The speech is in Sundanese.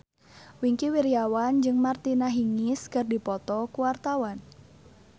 Wingky Wiryawan jeung Martina Hingis keur dipoto ku wartawan